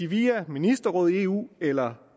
via ministerrådet i eu eller